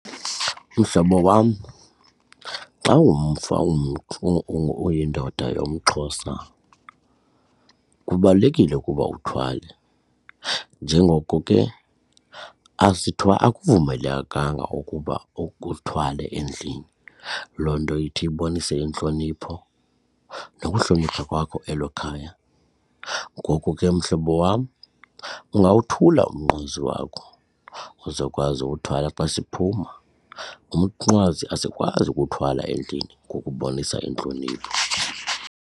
Mhlobo wam, xa uyindoda yomXhosa kubalulekile ukuba uthwale. Njengoko ke akuvumelekanga ukuba uthwale endlini loo nto ithi ibonise intlonipho nokuhlonipha kwakho elo khaya. Ngoku ke mhlobo wam ungawothula umnqwazi wakho uzokwazi uwuthwala xa siphuma. Umnqwazi asikwazi ukuwuthwala endlini ngokubonisa intlonipho.